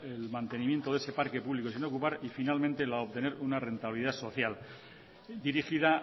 el mantenimiento de ese parque público sin ocupar y finalmente la de obtener una rentabilidad social dirigida